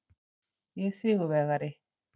Ég er sigurvegari.